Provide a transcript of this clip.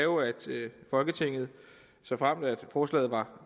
folketinget såfremt forslaget var